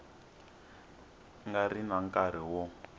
nga ri na nkarhi wo